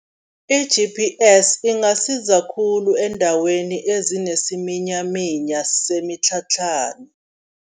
I-G_P_S ingasiza khulu eendaweni ezinesiminyaminya semitlhatlhana.